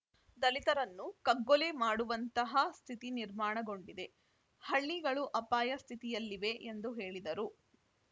ದಲಿತರನ್ನು ಕಗ್ಗೊಲೆ ಮಾಡುವಂತಹ ಸ್ಥಿತಿ ನಿರ್ಮಾಣಗೊಂಡಿದೆ ಹಳ್ಳಿಗಳು ಅಪಾಯ ಸ್ಥಿತಿಯಲ್ಲಿವೆ ಎಂದು ಹೇಳಿದರು